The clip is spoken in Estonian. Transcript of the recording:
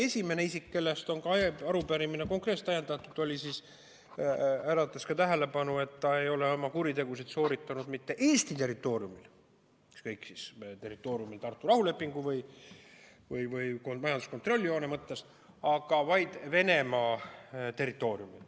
Esimene isik, kellest on ka arupärimine konkreetselt ajendatud, äratas tähelepanu selles mõttes, et ta ei ole oma kuritegusid sooritanud mitte Eesti territooriumil, ükskõik kas meie territooriumil Tartu rahulepingu või majanduskontrolljoone mõttes, vaid Venemaa territooriumil.